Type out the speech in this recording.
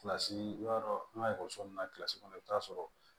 i b'a dɔn an ka ekɔliso ninnu na kɔnɔ i bɛ taa sɔrɔ